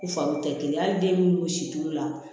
U fari tɛ kelen ye hali den minnu si t'u la